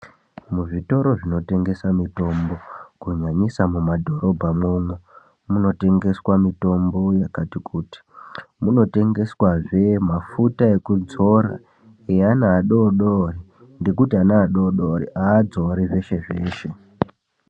Muzvitoro zvinotengesa mitombo kunyanyisa mumadhorobha mwo munotengeswa mutombo yakati kuti, munotengeswazve mafuta ekudzora eana adodori ngekuti ana adodori aadzori zveshe -zveshe.